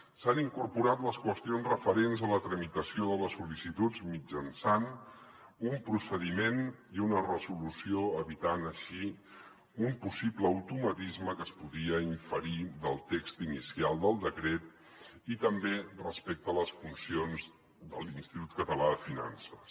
s’hi han incorporat les qüestions referents a la tramitació de les sol·licituds mitjançant un procediment i una resolució evitant així un possible automatisme que es podia inferir del text inicial del decret i també respecte a les funcions de l’institut català de finances